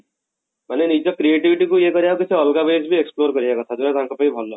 ମାନେ ନିଜ creativity କୁ ଇଏ କରିବା କୁ କିଛି ଅଲଗା ways ଭି explore କରିବା କଥା ଯଉଟା ତାଙ୍କ ପାଇଁ ଭଲ